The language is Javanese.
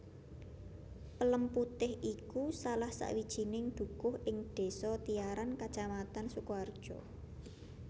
Pelemputih iku salah sawijining dukuh ing desa Tiyaran kecamatan Sukoharjo